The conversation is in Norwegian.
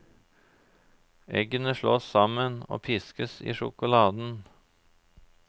Eggene slås sammen og piskes i sjokoladen.